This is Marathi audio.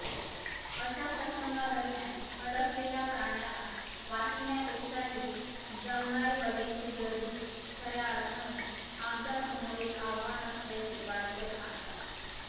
अशा प्रसंगांदरम्यान अडकलेल्या प्राण्याला वाचविण्यापेक्षाही जमणारी बघ्यांची गर्दीच खऱ्या अर्थाने आमच्यासमोरील आव्हान असल्याचे वाडेकर सांगतात